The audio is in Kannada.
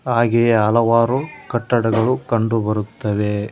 ಹಾಗೆ ಹಲವಾರು ಕಟ್ಟಡಗಳು ಕಂಡು ಬರುತ್ತವೆ.